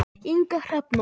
Inga Hrefna.